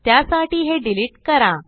त्यासाठी हे डिलिट करा